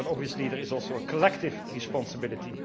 But obviously there is also a collective responsibility.